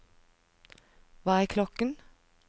hva er klokken